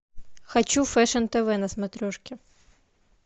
хочу фэшн тв на смотрешке